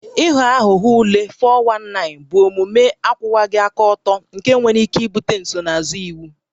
Ịghọ aghụghọ ule (419) bụ omume akwụwaghị aka ọtọ nke nwere ike ibute nsonaazụ iwu